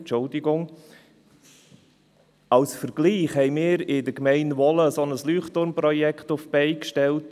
Ein Vergleich: Wir haben in der Gemeinde Wohlen ein Leuchtturm-Projekt auf die Beine gestellt.